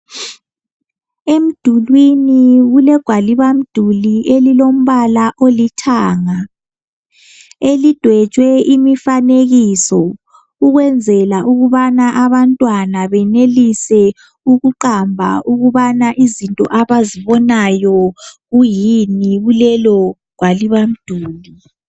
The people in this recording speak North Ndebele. Emidulini kulegwalibamduli elilombala olithanga. Lidwetshwe imifanekiso ukwenzela ukuthi abantwana benelise ukuqamba izinto abazibonayo.